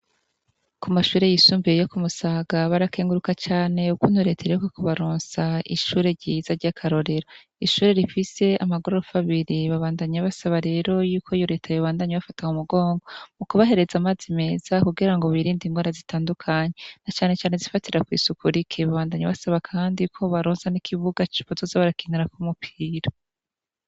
Ku mashure yisumbiye yo kumusaga barakenguruka cane uko untoretayeyoko kubarunsa ishure ryiza ry'akarorera ishure rifise amagorofa abiri babandanya basaba rero yuko yoreta ayo bbandanya bafata mu mugongo mu kubahereza amazi meza kugira ngo birinda ingo ara zitandukanye na canecane zifatira kw'isuku riki babandanyi basaba, kandi iko baronsa n'ikivuga cipozoze barakinura ko umupira.